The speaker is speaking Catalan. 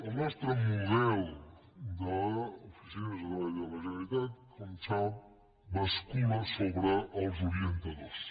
el nostre model d’oficines de treball de la generalitat com sap bascula sobre els orientadors